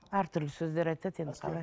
әртүрлі сөздер айтады енді қалай